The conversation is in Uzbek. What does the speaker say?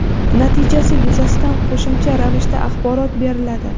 Natijasi yuzasidan qo‘shimcha ravishda axborot beriladi.